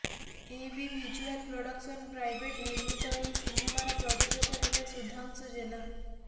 ଏ B visual production private ନିର୍ମିତ ଏହି ସିନେମାର ପ୍ରଯୋଜକ ହେଲେ ସୁଧାଂଶୁ ଜେନା